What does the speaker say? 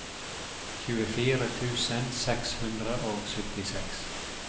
tjuefire tusen seks hundre og syttiseks